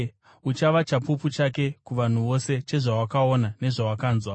Uchava chapupu chake kuvanhu vose, chezvawakaona nezvawakanzwa.